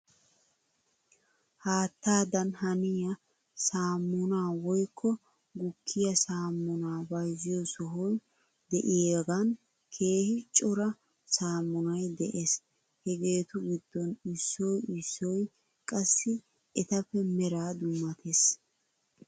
Haattadan haniyaa saammunaa woykko gukkiyaa saammunaa bayzziyoo sohoy de'iyaagan keehi cora saammunay de'es. Hegeetu giddon issoy issoy qassi etappe meraa dummates.